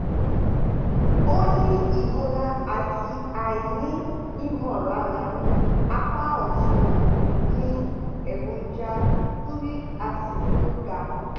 ó ní ìrora àti aini imolara ní apá ọ̀tún ó ní èròjà uric acid tó ga